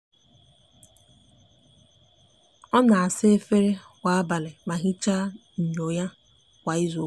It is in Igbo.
o n'asa efere kwa abali ma hichakwa nyo ya ya kwa izuuka